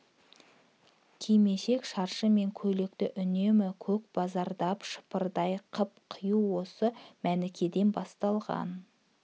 кимешек шаршы мен көйлекті үнемі көкбараздап шыпырдай қып кию осы мәнікеден басталған